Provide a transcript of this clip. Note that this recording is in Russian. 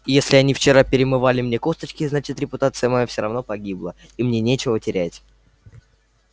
если они вчера перемывали мне косточки значит репутация моя все равно погибла и мне нечего терять